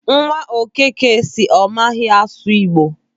Nwa Okeke sị na ọ maghị asụ Igbo.